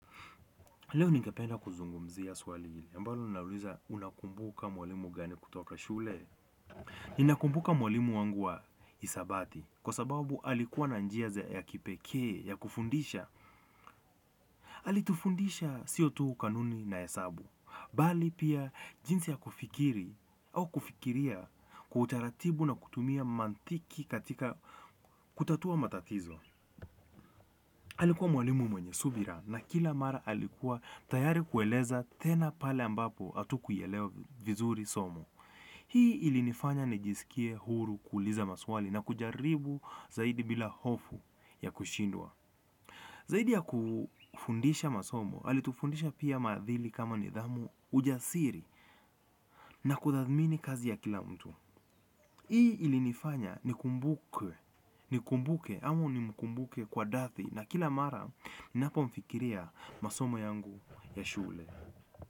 Leo ningependa kuzungumzia swali hili. Ambalo nauliza unakumbuka mwalimu gani kutoka shule. Ninakumbuka mwalimu wangu wa isabati kwa sababu alikuwa na njia za ya kipekee ya kufundisha. Alitufundisha sio tu kanuni na hesabu bali pia jinsi ya kufikiri au kufikiria kwa utaratibu na kutumia mantiki katika kutatua matatizo. Alikuwa mwalimu mwenye subira na kila mara alikuwa tayari kueleza tena pale ambapo atukuielewa vizuri somo. Hii ilinifanya nijisikie huru kuuliza maswali na kujaribu zaidi bila hofu ya kushindwa. Zaidi ya kufundisha masomo, alitufundisha pia maadili kama nidhamu ujasiri na kuthamini kazi ya kila mtu. Hii ilinifanya nikumbuke ama nimkumbuke kwa dathi na kila mara ninapo mfikiria masomo yangu ya shule.